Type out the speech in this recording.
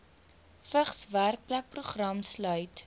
vigs werkplekprogram sluit